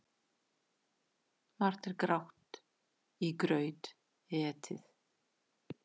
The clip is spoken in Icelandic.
Margt er grátt í graut etið.